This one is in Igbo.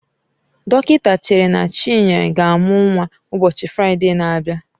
Dọkịta chere na Chinenye ga-amụ nnwa ụbọchị Fraịde na-abịa.